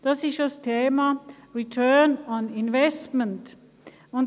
Dabei geht es um das Thema «Return on Investment».